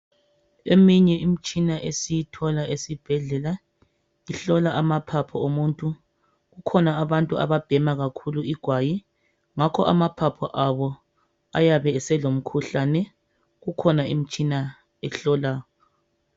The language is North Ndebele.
Eminye imitshina esiyithola esibhedlela ihlola amaphaphu omuntu kukhona abantu ababhema kakhulu igwayi ngakho amaphaphu abo ayabe eselomkhuhlane kukhona imitshina ehlolayo.